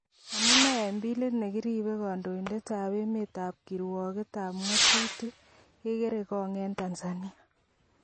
Amune eng billit nekiribe kondoidet ab emet ak kirwoget ab ngotutik kegerngog eng Tanzania.